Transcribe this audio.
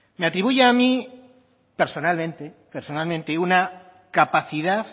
me atribuye a mí personalmente una capacidad